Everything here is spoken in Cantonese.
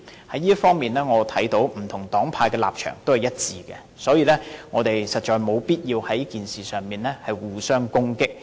就這方面，我看到不同黨派的立場也是一致的，所以，我們實在沒有必要在這事上互相攻擊。